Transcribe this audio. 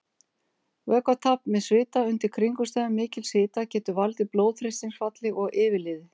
Vökvatap með svita undir kringumstæðum mikils hita getur valdið blóðþrýstingsfalli og yfirliði.